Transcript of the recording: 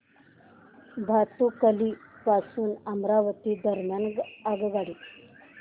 भातुकली पासून अमरावती दरम्यान आगगाडी